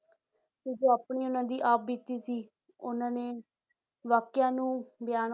ਆਪਣੀ ਉਹਨਾਂ ਦੀ ਆਪ ਬੀਤੀ ਸੀ ਉਹਨਾਂ ਨੇ ਵਾਕਿਆ ਨੂੰ ਬਿਆਨ